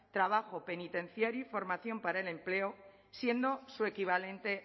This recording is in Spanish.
trabajo penitenciario y formación para el empleo siendo su equivalente